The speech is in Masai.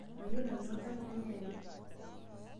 Mayiolo nanu enkarna enye yare.